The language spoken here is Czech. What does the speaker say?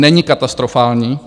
Není katastrofální.